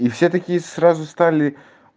и все такие сразу стали